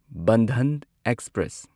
Bandhan express